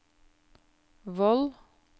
Voll